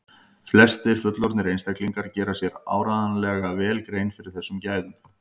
flestir fullorðnir einstaklingar gera sér áreiðanlega vel grein fyrir þessum gæðum